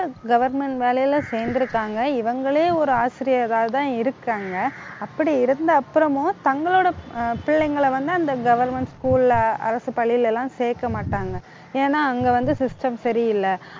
government வேலையில சேர்ந்திருக்காங்க. இவங்களே ஒரு ஆசிரியராதான் இருக்காங்க அப்படி இருந்த அப்புறமும் தங்களோட அஹ் பிள்ளைங்களை வந்து, அந்த government school ல அரசு பள்ளியில எல்லாம் சேர்க்க மாட்டாங்க ஏன்னா அங்க வந்து system சரியில்லை